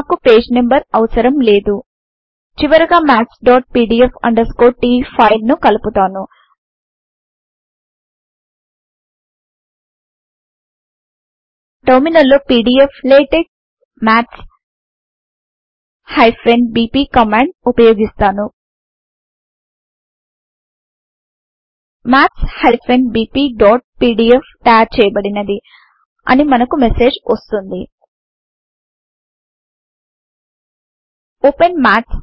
నాకు page number అవసరం లేదు చివరగా mathspdf t ఫైల్ ను కల్పుతాను టెర్మినల్ లో పీడీఫ్లాటెక్స్ maths బీపీ కమాండ్ ఉపయోగిస్తాను maths bpపీడీఎఫ్ తయారుచేయబడినది అని మనకు మెసేజ్ వస్తుంది ఓపెన్ maths